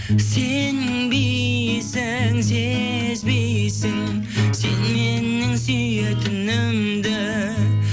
сенбейсің сезбейсің сен менің сүйетінімді